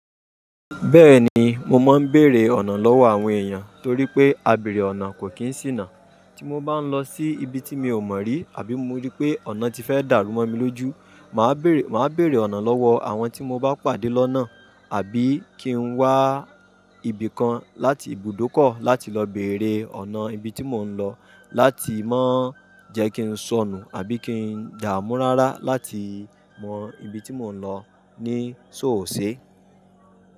Bẹ́ẹ̀ni mo máa ń bèrè ọ̀nà lọ́wọ́ àwọn èèyàn torí pé àbẹ̀rẹ̀ ọ̀nà kò kí ń ṣìnà. Tí mo bá ń lọ sí ibi tí mi ò mọ̀ rí àbí mo rí pé ọ̀nà ti fẹ́ dàrú mọ́ mi lójú, màá bèrè ọ̀nà lọ́wọ́ àwọn tí mo bá pàdé lọ́nà àbí kí n wá ibìkan láti ibùdókọ̀ láti lọ bèrè ọ̀nà ibi tí mò ń lọ láti má jẹ kí n sọnù àbí kí n dààmú rárá láti mọ ibi tí mò ń lọ ní ṣóòṣe.